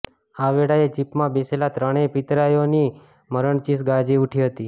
આ વેળાએ જીપમાં બેસેલા ત્રણેય પિત્તરાઈઓની મરણચીસ ગાજી ઉઠી હતી